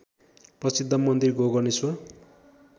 प्रसिद्ध मन्दिर गोकर्णेश्वर